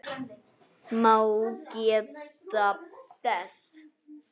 má geta þess